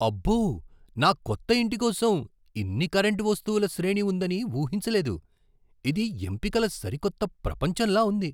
అబ్బో! నా కొత్త ఇంటి కోసం ఇన్ని కరెంటు వస్తువుల శ్రేణి ఉందని ఊహించలేదు. ఇది ఎంపికల సరికొత్త ప్రపంచంలా ఉంది.